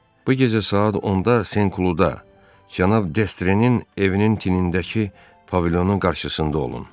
Bu gecə saat 10-da Sen Kluda cənab Destrenin evinin tinindəki pavilyonun qarşısında olun.